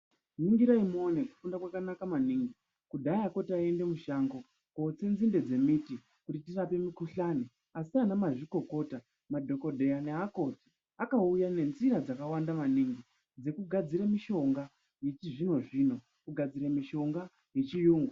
Ringirai muone kufunda kwakanaka maningi kudhayako taiende mushango kotse nzinde dzemiti kuti tirape mikuhlani. Asi ana mazvikokota madhogodheya neakoti akauya nenzira dzakawanda maningi dzekugadzire mishonga yechizvino-zvino, kugadzire mishonga yechiyungu.